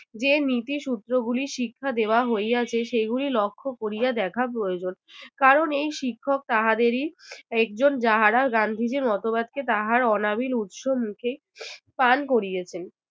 যে নীতি সূত্রগুলি শিক্ষা দেওয়া হইয়াছে সেগুলি লক্ষ্য করিয়া দেখা প্রয়োজন কারণ এই শিক্ষক তাহাদেরই একজন যাহারা গান্ধীজীর মতবাদকে তাঁহার অনাবিল উৎস মুখে পান করিয়েছেন